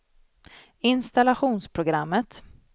installationsprogrammet